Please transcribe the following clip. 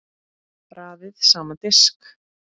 Raðið saman á disk.